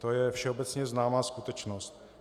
To je všeobecně známá skutečnost.